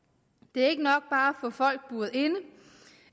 det er ikke nok bare at få folk buret inde